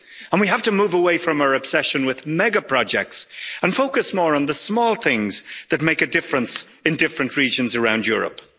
We have to move away from our obsession with mega projects and focus more on the small things that make a difference in different regions around Europe.